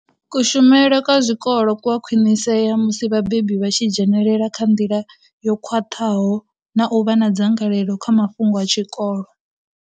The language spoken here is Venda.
Kushumele kwa zwikolo ku a khwinisea musi vhabebi vha tshi dzhenela nga nḓila yo khwaṱha ho na u vha na dzangalelo kha mafhungo a tshikolo.